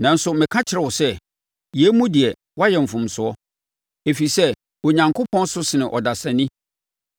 “Nanso meka mekyerɛ wo sɛ, yei mu deɛ, woayɛ mfomsoɔ, ɛfiri sɛ Onyankopɔn so sene ɔdasani.